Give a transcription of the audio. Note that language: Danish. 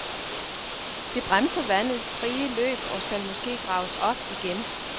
Det bremser vandets frie løb og skal måske graves op igen.